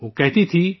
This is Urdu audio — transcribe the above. وہ کہتی بھی تھیں